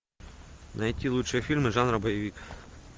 найти лучшие фильмы жанра боевик